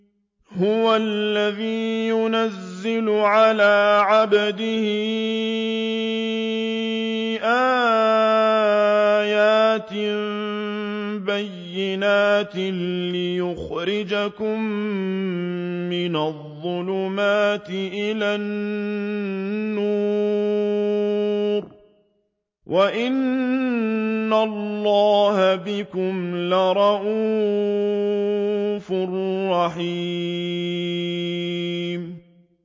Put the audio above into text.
هُوَ الَّذِي يُنَزِّلُ عَلَىٰ عَبْدِهِ آيَاتٍ بَيِّنَاتٍ لِّيُخْرِجَكُم مِّنَ الظُّلُمَاتِ إِلَى النُّورِ ۚ وَإِنَّ اللَّهَ بِكُمْ لَرَءُوفٌ رَّحِيمٌ